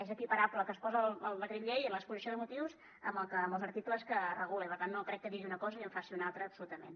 és equiparable el que es posa al decret llei en l’exposició de motius amb els articles que regula i per tant no crec que digui una cosa i en faci una altra absolutament